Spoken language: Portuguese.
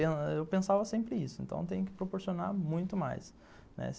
Eu pensava sempre isso, então tem que proporcionar muito mais, né.